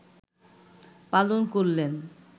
পালন করলেন